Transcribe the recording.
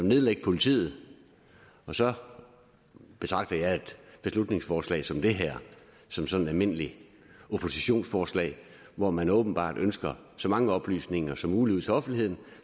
nedlægge politiet og så betragter jeg et beslutningsforslag som det her som som et almindeligt oppositionsforslag hvor man åbenbart ønsker så mange oplysninger som muligt ud til offentligheden